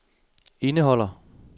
indeholder